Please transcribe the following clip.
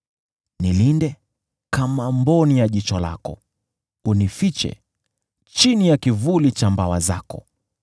Nilinde kama mboni ya jicho lako, unifiche chini ya kivuli cha mbawa zako